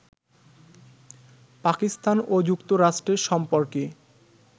পাকিস্তান ও যুক্তরাষ্ট্রের সম্পর্কে